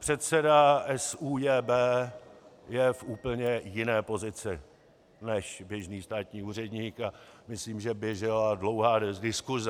Předseda SÚJB je v úplně jiné pozici než běžný státní úředník a myslím, že běžela dlouhá diskuse.